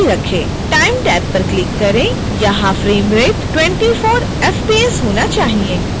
time tab पर click करें यहां frame rate 24 एफपीएस होना चाहिए